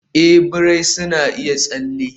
a, birai na iya tsalle